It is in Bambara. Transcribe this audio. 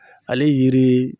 Ale ye yiri ye